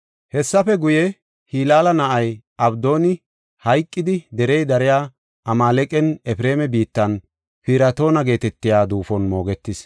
Hessafe guye, Hilaala na7ay Abdooni hayqidi derey dariya Amaaleqan, Efreema biittan, Piratoona geetetiya duufon moogetis.